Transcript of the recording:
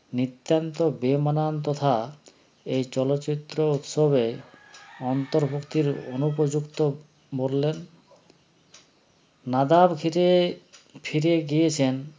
নিত্যান্ত বেমানান তথা এ চলচ্চিত্র উৎসবে অন্তর্ভুক্তির অনুপযুক্ত বললেন নাদাব ঘিরে ফিরে গিয়েছেন